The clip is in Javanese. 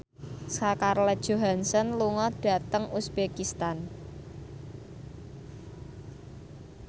Scarlett Johansson lunga dhateng uzbekistan